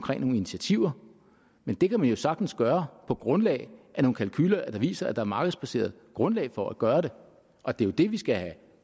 nogle initiativer men det kan man jo sagtens gøre på grundlag af nogle kalkuler der viser at der markedsbaseret grundlag for at gøre det og det er jo det vi skal have